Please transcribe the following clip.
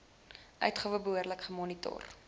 uitgawe behoorlik gemonitor